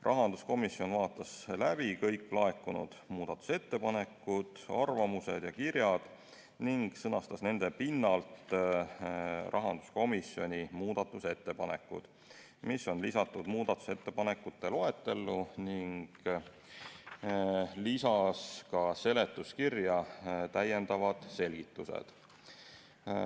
Rahanduskomisjon vaatas kõik laekunud muudatusettepanekud, arvamused ja kirjad läbi ning sõnastas nende põhjal oma muudatusettepanekud, mis on esitatud muudatusettepanekute loetelus, ning lisas seletuskirja täiendavad selgitused.